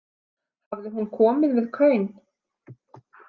Hafði hún komið við kaun?